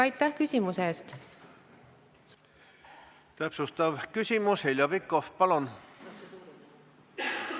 Täpsustav küsimus Heljo Pikhofilt, palun!